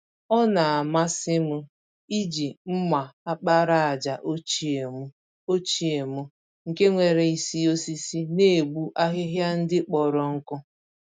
Ọ namasịm iji mma àkpàràjà ochie mụ, ochie mụ, nke nwéré isi osisi, n'egbu ahịhịa ndị kpọrọ nkụ